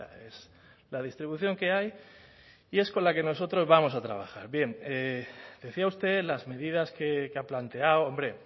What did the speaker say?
es la distribución que hay y es con la que nosotros vamos a trabajar bien decía usted las medidas que ha planteado hombre